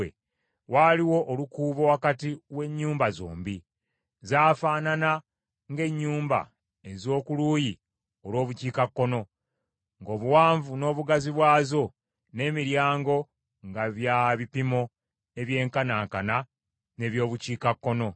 Waaliwo olukuubo wakati w’ennyumba zombi. Zaafaanana ng’ennyumba ez’oku luuyi olw’Obukiikakkono, ng’obuwanvu n’obugazi bwazo, n’emiryango nga bya bipimo ebyenkanankana n’eby’Obukiikakkono.